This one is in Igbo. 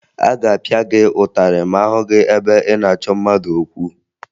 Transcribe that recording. A ga-apịa gị ụtarị ma a hụ gị ebe ị na-achọ mmadụ okwu